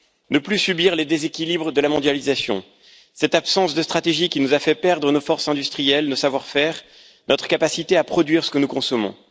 ne plus subir les déséquilibres de la mondialisation, cette absence de stratégie qui nous a fait perdre nos forces industrielles, notre savoir faire, notre capacité à produire ce que nous consommons.